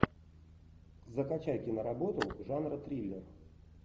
закачай киноработу жанра триллер